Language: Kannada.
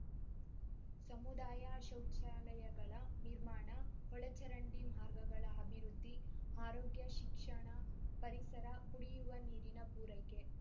ಸಮುದಾಯ ಶೌಚಾಲಯಗಳ ನಿರ್ಮಾಣ ಒಳ ಚರಂಡಿ ಮಾರ್ಗಗಳ ಅಭಿವೃದ್ಧಿ ಆರೋಗ್ಯ ಶಿಕ್ಷಣ ಪರಿಸರ ಕುಡಿಯುವ ನೀರಿನ ಪೂರೈಕೆ